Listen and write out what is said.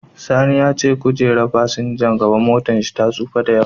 Sani ya ce kojerar fasinjan gaba ta motarsa ta tsufa da yawa.